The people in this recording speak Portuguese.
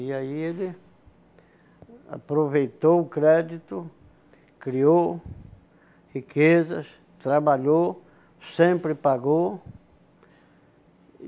E aí ele aproveitou o crédito, criou riquezas, trabalhou, sempre pagou.